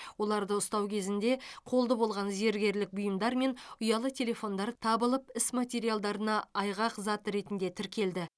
оларды ұстау кезінде қолды болған зергерлік бұйымдар мен ұялы телефондар табылып іс материалдарына айғақзат ретінде тіркелді